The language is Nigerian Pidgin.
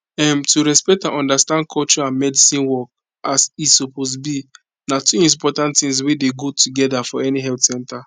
um to respect and understand culture and medicine work as e suppose be na two important tings wey dey go together for any health center